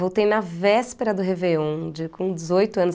Voltei na véspera do Réveillon, de com dezoito anos.